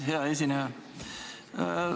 Hea esineja!